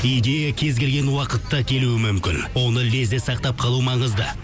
идея кез келген уақытта келуі мүмкін оны лезде сақтап қалу маңызды